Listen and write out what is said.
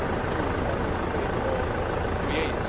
to participate or to create.